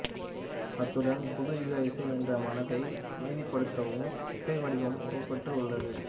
அத்துடன் புது யுக இசை என்ற மனதை அமைதிப்படுத்தும் இசை வடிவமும் உருப்பெற்று உள்ளது